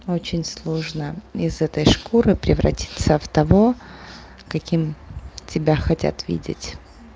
очень сложно из этой шкуры превратиться в того каким тебя хотят видеть